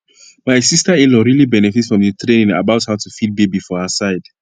my sisterinlaw really benefit from the training about how to feed baby for her side